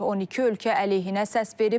12 ölkə əleyhinə səs verib.